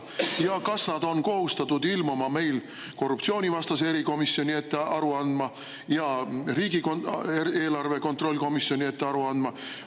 Ja kas nad on kohustatud ilmuma korruptsioonivastase erikomisjoni ette aru andma ja riigieelarve kontrolli komisjoni ette aru andma?